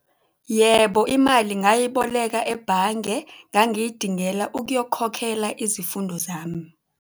Yebo, imali ngayiboleka ebhange. Ngangiyidingela ukuyokhokhela izifundo zami.